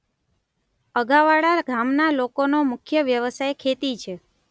અગાવાડા ગામના લોકોનો મુખ્ય વ્યવસાય ખેતી છે.